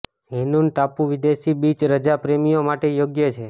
Hainan ટાપુ વિદેશી beach રજા પ્રેમીઓ માટે યોગ્ય છે